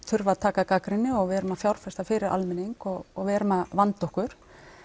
þurfa að taka gagnrýni og við erum að fjárfesta fyrir almenning og og við erum að vanda okkur